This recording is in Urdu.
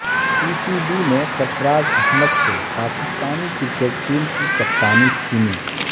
پی سی بی نے سر فراز احمد سے پاکستانی کر کٹ ٹیم کی کپتانی چھینی